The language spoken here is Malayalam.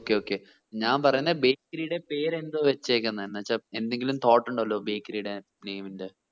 okay okay ഞാൻ പറയുന്നേ bakery ടെ പേര് എന്തുവ വെച്ചേക്കിന്നെ എന്നെച്ച എന്തെങ്കിലും thought ഉണ്ടല്ലോ bakery ടെ name ന്റെ